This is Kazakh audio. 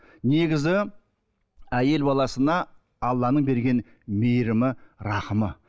негізі әйел баласына алланың берген мейірімі рахымы